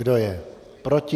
Kdo je proti?